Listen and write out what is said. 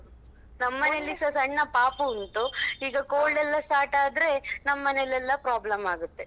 ನಮ್ಮನೇಲಿಸ ಸಣ್ಣ ಪಾಪು ಉಂಟು ಈಗ cold ಯೆಲ್ಲಾ start ಆದ್ರೆ ನಮ್ಮನೇಲೆಲ್ಲಾ problem ಆಗುತ್ತೆ.